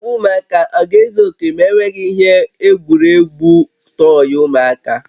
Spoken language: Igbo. Ngwa ụmụaka a ga-ezu oke na-enweghị ihe egwuregwu tọyị ụmụaka?